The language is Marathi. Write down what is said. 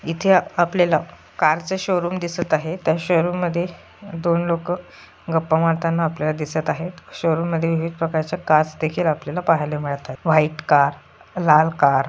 इथे आपल्याला कार च शोरूम दिसत आहे त्या शोरूम मध्ये दोन लोक गप्पा मारताना आपल्याला दिसत आहेत. शोरूम मध्ये विविध प्रकारच्या कार्स देखील आपल्याला पाहायला मिळतात. व्हाइट कार लाल कार --